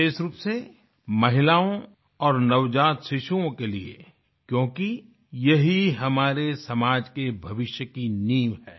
विशेष रूप से महिलाओं और नवजात शिशुओं के लिए क्योंकि ये ही हमारे समाज के भविष्य की नींव है